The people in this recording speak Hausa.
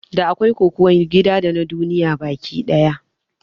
Da akwai Kokuwan gida dana duniya baki ɗaya